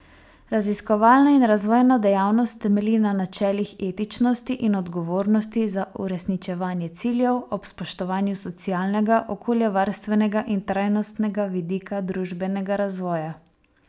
Raziskovalna in razvojna dejavnost temelji na načelih etičnosti in odgovornosti za uresničevanje ciljev, ob spoštovanju socialnega, okoljevarstvenega in trajnostnega vidika družbenega razvoja.